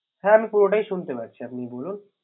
হ্যা আমি পুরোটাই শুনতে পাচ্ছি আপনি বলুন